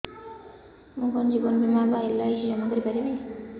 ମୁ କଣ ଜୀବନ ବୀମା ବା ଏଲ୍.ଆଇ.ସି ଜମା କରି ପାରିବି